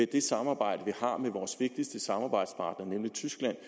det samarbejde vi har med vores vigtigste samarbejdspartner nemlig tyskland